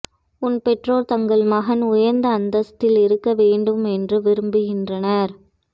உன் பெற்றோர் தங்கள் மகன் உயர்ந்த அந்தஸ்தில் இருக்க வேண்டும் என்று விரும்புகின்றனர்